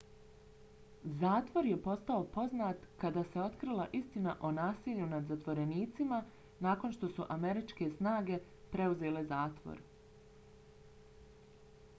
zatvor je postao poznat kada se otkrila istina o nasilju nad zatvorenicima nakon što su američke snage preuzele zatvor